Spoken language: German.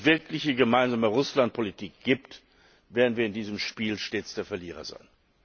es keine wirkliche gemeinsame Russlandpolitik gibt, werden wir in diesem Spiel stets der Verlierer sein!